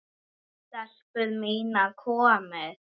STELPUR MÍNAR, KOMIÐI!